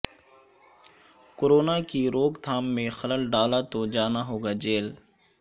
corona کی روک تھام میں خلل ڈالاتو جاناہوگا جیل